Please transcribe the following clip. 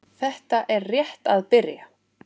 Þetta er rétt að byrja.